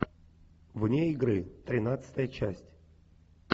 вне игры тринадцатая часть